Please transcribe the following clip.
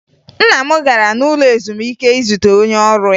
Nna m gara n'ụlọ ezumike izute onye ọrụ ya